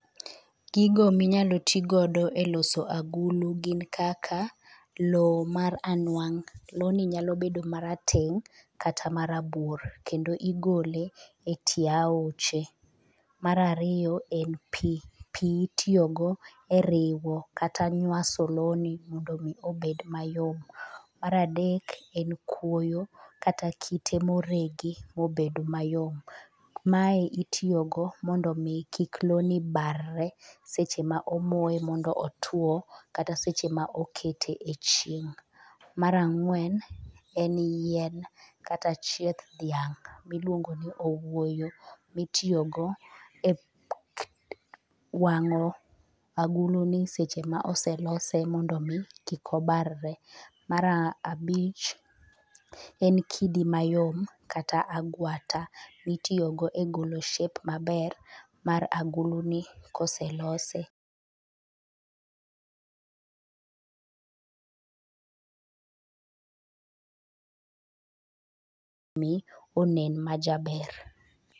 Gigo minyalo ti godo eloso agulu gin kaka loo mar anwang',looni nyalo bedo mara teng' kata mara buor. Kendo igole etie aoche. Mar ariyo en pii, pii itiyogo eriwo kata nywaso looni mondo mi obed mayom. Mar adek, en kuoyo kata kite moregi mobedo mayom, mae itiyogo mondo mi kik looni barre seche ma omoye mondo otuo kata seche ma okete e chieng'.Mar ang'wen ,en yien kata chieth dhiang' miluongoni owuoyo mitiyogo ewango aguluni seche ma oselose mondo mi kik obarre. Mar abich en kidi mayom kata agwata mitiyogo egolo shape maber mar aguluni koselose. Mondo mi onen majaber.